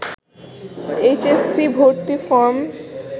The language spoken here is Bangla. এইচ এস সি ভর্তি ফরম